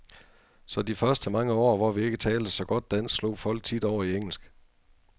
Så de første mange år, hvor vi ikke talte så godt dansk, slog folk tit over i engelsk.